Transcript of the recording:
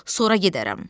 sonra gedərəm.